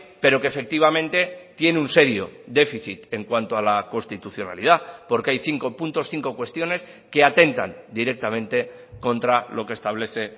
pero que efectivamente tiene un serio déficit en cuanto a la constitucionalidad porque hay cinco puntos cinco cuestiones que atentan directamente contra lo que establece